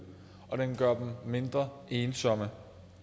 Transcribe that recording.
og den gør dem mindre ensomme